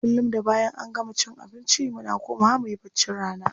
Kullum da bayan an gama cin abinci muna komawa muyi baccin rana.